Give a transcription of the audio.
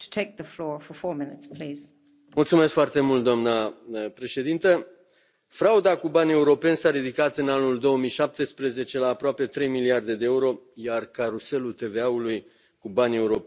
Doamnă președintă, frauda cu bani europeni s a ridicat în anul 2017 la aproape trei miliarde de euro, iar caruselul TVA ului cu bani europeni ne costă anual 50 de miliarde de euro.